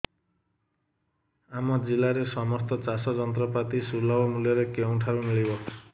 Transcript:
ଆମ ଜିଲ୍ଲାରେ ସମସ୍ତ ଚାଷ ଯନ୍ତ୍ରପାତି ସୁଲଭ ମୁଲ୍ଯରେ କେଉଁଠାରୁ ମିଳିବ